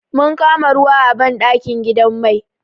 Mun kama ruwa a banɗakin gidan mai.